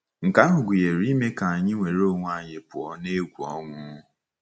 Nke ahụ gụnyere ime ka anyị nwere onwe anyị pụọ n’egwu ọnwụ.